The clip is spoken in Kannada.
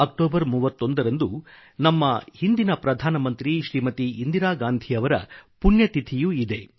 ಅಕ್ಟೋಬರ್ 31 ರಂದು ನಮ್ಮ ಅಂದಿನ ಪ್ರಧಾನಮಂತ್ರಿ ಶ್ರೀಮತಿ ಇಂದಿರಾ ಗಾಂಧಿ ಅವರ ಪುಣ್ಯತಿಥಿಯೂ ಇದೆ